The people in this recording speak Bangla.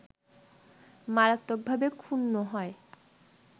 মারাত্বকভাবে ক্ষুন্ন হয়